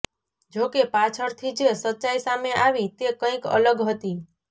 જોકે પાછળથી જે સચ્ચાઈ સામે આવી તે કંઈક અલગ હતી